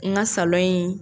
N ka salɔn in